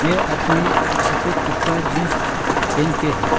ये आदमी छफेद कपड़ा जींस पेन के है।